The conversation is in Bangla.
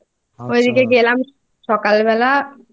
আচ্ছা গেলাম সকালবেলা এত সুন্দর মানে মানে একটু তাড়াতাড়ি ভোর পাঁচ